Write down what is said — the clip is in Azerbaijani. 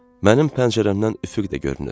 Mənim pəncərəmdən üfüq də görünür.